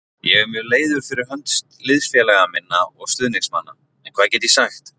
Ég er mjög leiður fyrir hönd liðsfélaga minna og stuðningsmanna en hvað get ég sagt?